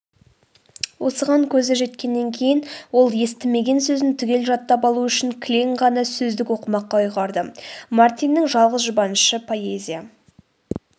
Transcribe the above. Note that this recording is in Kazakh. осыған көзі жеткеннен кейін ол естімеген сөзін түгел жаттап алу үшін кілең ғана сөздік оқымаққа ұйғарды.мартиннің жалғыз жұбанышы поэзия